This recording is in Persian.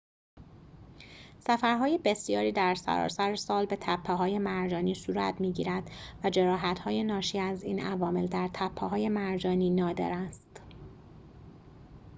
سفرهای بسیاری در سراسر سال به تپه‌های مرجانی صورت می‌گیرد و جراحت‌های ناشی از این عوامل در تپه‌های مرجانی نادر است